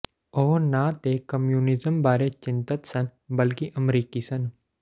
ਉਹ ਨਾ ਤਾਂ ਕਮਿਊਨਿਜ਼ਮ ਬਾਰੇ ਚਿੰਤਤ ਸਨ ਬਲਕਿ ਅਮਰੀਕਨ ਸਨ